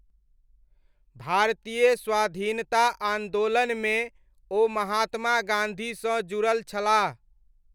भारतीय स्वाधीनता आन्दोलनमे ओ महात्मा गाँधीसँ जुड़ल छलाह ।